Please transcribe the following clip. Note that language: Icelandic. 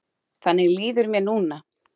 Þannig líður mér núna.